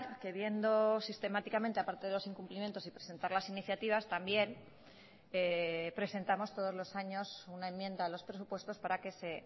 que viendo sistemáticamente a parte de los incumplimientos y presentar las iniciativas también presentamos todos los años una enmienda a los presupuestos para que se